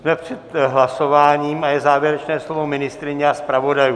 Jsme před hlasováním a je závěrečné slovo ministryně a zpravodajů.